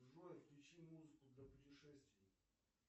джой включи музыку для путешествий